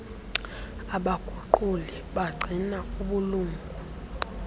abaguquli bagcina ubulunga